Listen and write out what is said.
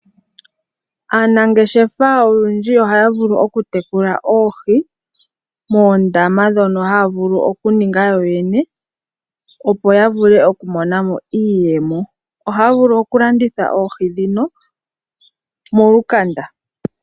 Aanangeshefa olundji ohaya vulu oku tekula oohi moondama mono haya vulu okuninga yoyene opo yavule okumonamo iiyemo. ohaya vulu okulanditha oohi dhin molukanda.